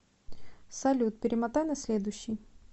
салют перемотай на следующий